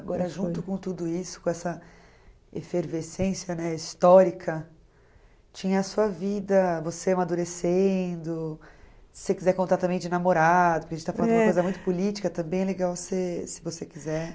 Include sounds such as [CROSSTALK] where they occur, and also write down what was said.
Agora, junto com tudo isso, com essa efervescência, né, histórica, tinha a sua vida, você amadurecendo, se você quiser contar também de namorado, porque a gente está falando uma coisa muito política, também é legal [UNINTELLIGIBLE] se você quiser.